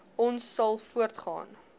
ons sal voortgaan